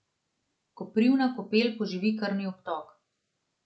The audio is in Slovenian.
Koprivna kopel poživi krvni obtok.